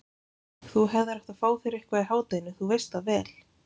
Þú hefðir átt að fá þér eitthvað í hádeginu, þú veist það vel.